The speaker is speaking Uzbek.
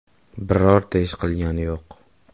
Birorta ish qilgani yo‘q.